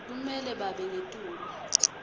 kumele babe ngetulu